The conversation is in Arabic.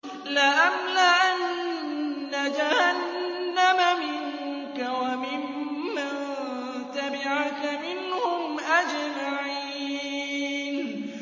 لَأَمْلَأَنَّ جَهَنَّمَ مِنكَ وَمِمَّن تَبِعَكَ مِنْهُمْ أَجْمَعِينَ